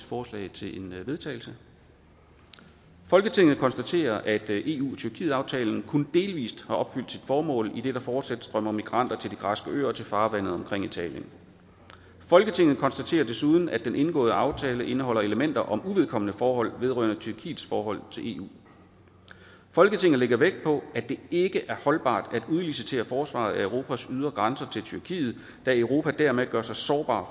forslag til vedtagelse folketinget konstaterer at eu tyrkiet aftalen kun delvist har opfyldt sit formål idet der fortsat strømmer migranter til de græske øer og til farvandet omkring italien folketinget konstaterer desuden at den indgåede aftale indeholder elementer om uvedkommende forhold vedrørende tyrkiets forhold til eu folketinget lægger vægt på at det ikke er holdbart at udlicitere forsvaret af europas ydre grænser til tyrkiet da europa dermed gør sig sårbar